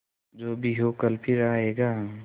जो भी हो कल फिर आएगा